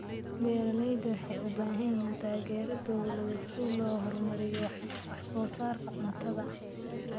Beeralayda waxay u baahan yihiin taageero dawladeed si loo horumariyo wax soo saarka cuntada.